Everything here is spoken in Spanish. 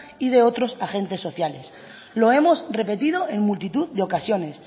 y de otros agentes sociales lo hemos repetido en multitud de ocasiones